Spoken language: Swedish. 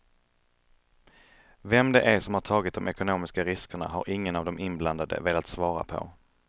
Vem det är som har tagit de ekonomiska riskerna har ingen av de inblandade velat svara på.